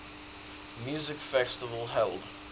music festival held